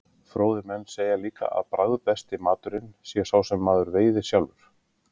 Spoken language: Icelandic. fróðir menn segja líka að bragðbesti maturinn sé sá sem maður veiðir sjálfur